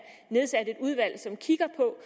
nedsat et udvalg som kigger på